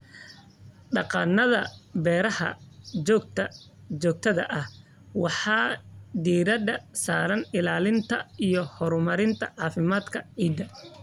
Dhaqannada beerashada joogtada ah waxay diiradda saaraan ilaalinta iyo horumarinta caafimaadka ciidda.